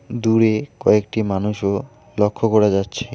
দূরে কয়েকটি মানুষও লক্ষ্য করা যাচ্ছে।